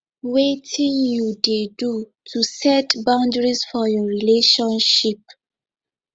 wetin you dey do to set boundaries for your relationship